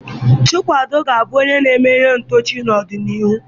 Chukwudị ga-abụ onye na-eme ihe ntọchi n'ọdịnihu.